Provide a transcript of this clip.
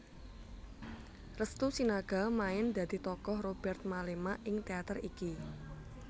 Restu Sinaga main dadi tokoh Robert Mellema ing teater iki